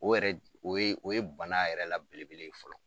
O yɛrɛ o ye bana yɛrɛ la belebele ye fɔlɔ